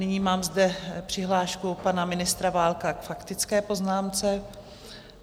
Nyní mám zde přihlášku pana ministra Válka k faktické poznámce.